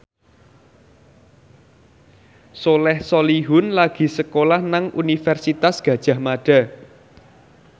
Soleh Solihun lagi sekolah nang Universitas Gadjah Mada